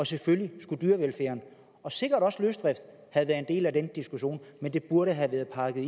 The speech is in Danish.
selvfølgelig skulle dyrevelfærden og sikkert også løsdriften have været en del af den diskussion men det burde have været pakket